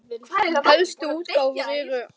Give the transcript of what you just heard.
Helstu útgáfur eru